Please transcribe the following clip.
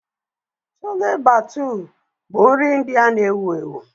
Chole Bhatuu bụ nri India na-ewu ewu.